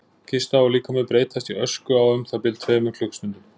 Kista og líkami breytast í ösku á um það bil tveimur klukkustundum.